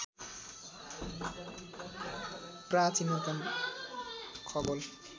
प्राचीनतम खगोल